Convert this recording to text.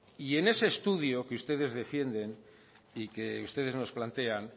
y en ese estudio que ustedes defienden y que ustedes nos plantean